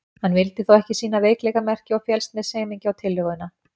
Hann vildi þó ekki sýna veikleikamerki og féllst með semingi á tillöguna.